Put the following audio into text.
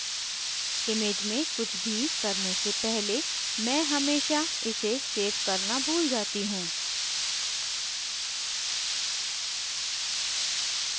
image में कुछ भी करने से पहले मैं हमेशा इसे सेव करना भूल जाती हूँ